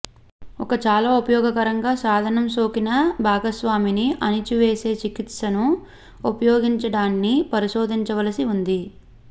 ఒక చాలా ఉపయోగకరంగా సాధనం సోకిన భాగస్వామిని అణిచివేసే చికిత్సను ఉపయోగించడాన్ని పరిశోధించవలసి ఉంది